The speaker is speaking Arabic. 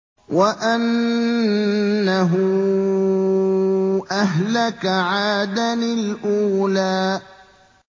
وَأَنَّهُ أَهْلَكَ عَادًا الْأُولَىٰ